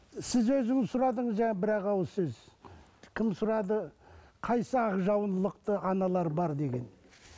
сіз өзіңіз сұрадыңыз жаңа бір ақ ауыз кім сұрады қайсысы ақ жаулықты аналар бар деген